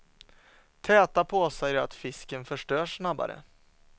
Täta påsar gör att fisken förstörs snabbare.